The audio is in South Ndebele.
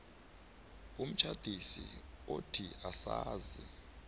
umtjhadisi othi asazi